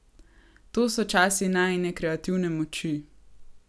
To so časi najine kreativne moči.